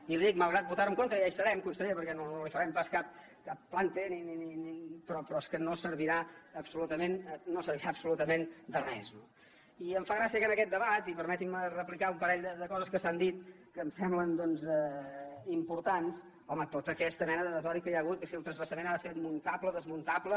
i li dic que malgrat votar ho en contra ja hi serem conseller perquè no li farem pas cap plante servirà absolutament de res no i em fa gràcia que en aquest debat i permetin me replicar un parell de coses que s’han dit que em semblen doncs importants home tota aquesta mena de desori que hi ha hagut que si el transvasament ha de ser muntable desmuntable